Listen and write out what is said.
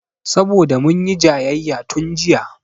Saboda munyi jayayya tun jiya